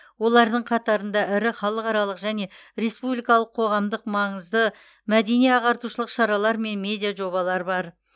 олардың қатарында ірі халықаралық және республикалық қоғамдық маңызды мәдени ағартушылық шаралар мен медиа жобалар бар